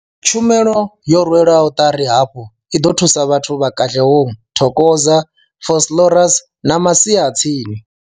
Tshumelo yo rwelwaho ṱari hafhu i ḓo thusa vhathu vha Katlehong, Thokoza, Vosloorus na masia a tsini.